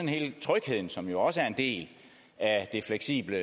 hele trygheden som jo også er en del af det fleksible